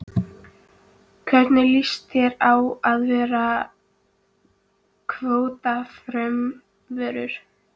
Lillý: Hvernig líst þér á þessi kvótafrumvörp?